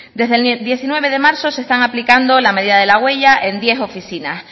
desde el diecinueve de marzo se está aplicando la medida de la huella en diez oficinas